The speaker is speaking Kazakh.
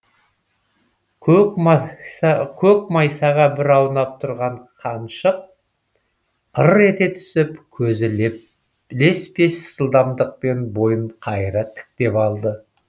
көк майсаға бір аунап тұрған қаншық ыр ете түсіп көзі леспес жылдамдықпен бойын қайыра тіктеп алды